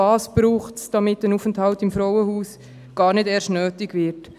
Was braucht es, damit ein Aufenthalt im Frauenhaus gar nicht erst nötig wird?